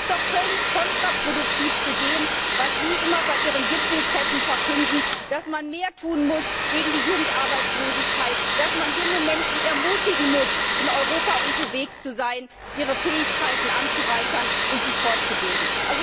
Das ist doch völlig kontraproduktiv zu dem, was Sie bei Ihren Gipfeltreffen immer verkünden, dass man gegen die Jugendarbeitslosigkeit mehr tun muss, dass man junge Menschen ermutigen muss, in Europa unterwegs zu sein, ihre Fähigkeiten zu erweitern und sich fortzubilden.